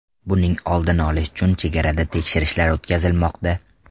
Buning oldini olish uchun chegarada tekshirishlar o‘tkazilmoqda.